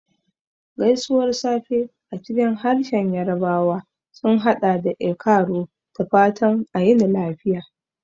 Gaisuwar safe a cikin harshen Yarbawa sun haɗa da "E kaaro," da fatan a yini lafiya.